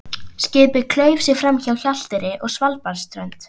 Skipið klauf sig framhjá Hjalteyri og Svalbarðsströnd.